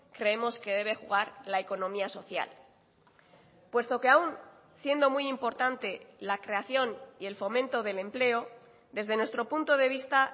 creemos que debe jugar la economía social puesto que aun siendo muy importante la creación y el fomento del empleo desde nuestro punto de vista